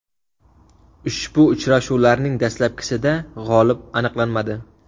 Ushbu uchrashuvlarning dastlabkisida g‘olib aniqlanmadi.